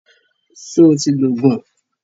Sọ ti lo Ògùn?